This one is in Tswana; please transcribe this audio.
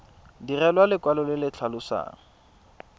direlwa lekwalo le le tlhalosang